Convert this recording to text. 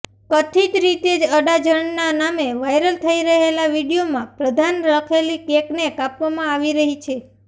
કથિત રીતે અડાજણના નામે વાઈરલ થઈ રહેલા વીડિયોમાં પ્રધાન લખેલી કેકને કાપવામાં આવી રહી છે